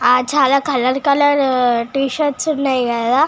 ఆ చాల colour colour T shirt లు ఉన్నాయి కదా.